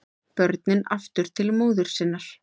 Börnin aftur til móður sinnar